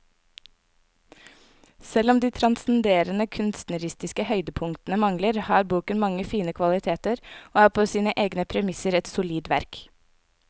Selv om de transcenderende kunstneriske høydepunktene mangler, har boken mange fine kvaliteter og er på sine egne premisser et solid verk.